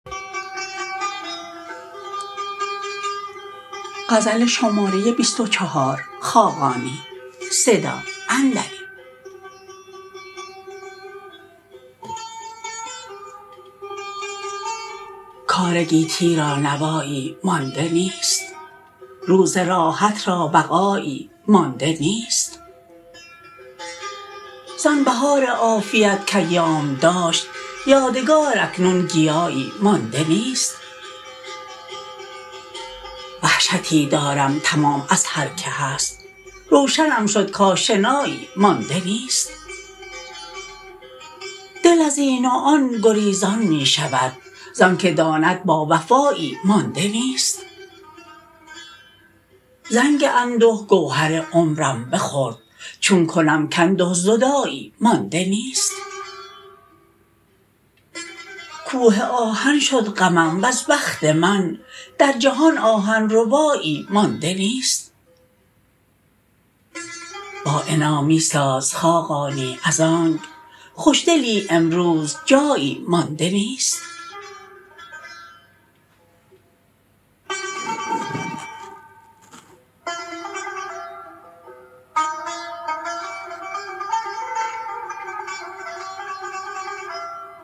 کار گیتی را نوایی مانده نیست روز راحت را بقایی مانده نیست زان بهار عافیت که ایام داشت یادگار اکنون گیایی مانده نیست وحشتی دارم تمام از هرکه هست روشنم شد کآشنایی مانده نیست دل ازین و آن گریزان می شود زانکه داند باوفایی مانده نیست زنگ انده گوهر عمرم بخورد چون کنم که انده زدایی مانده نیست کوه آهن شد غمم وز بخت من در جهان آهن ربایی مانده نیست با عنا می ساز خاقانی از آنک خوش دلی امروز جایی مانده نیست